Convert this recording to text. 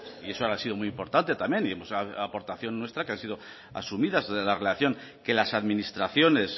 y eso ha sido muy importante también y hemos hecho una aportación nuestra que ha sido asumida la relación que las administraciones